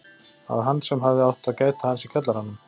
Það var hann sem hafði átt að gæta hans í kjallaranum.